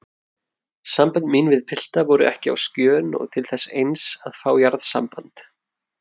Sambönd mín við pilta voru ekki á skjön og til þess eins að fá jarðsamband.